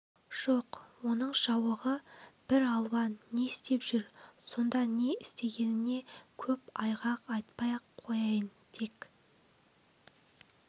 жоқ оның жауығуы бір алуан не істеп жүр сонда не істегеніне көп айғақ айтпай-ақ қояйын тек